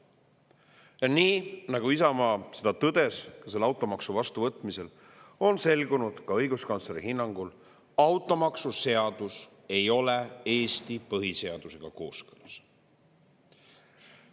Ja nii, nagu Isamaa tõdes selle automaksu vastuvõtmisel, on selgunud ka õiguskantsleri hinnangul: automaksuseadus ei ole Eesti põhiseadusega kooskõlas.